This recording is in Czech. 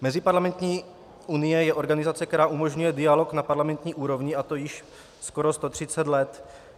Meziparlamentní unie je organizace, která umožňuje dialog na parlamentní úrovni, a to již skoro 130 let.